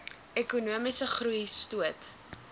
ekonomiese groei stoot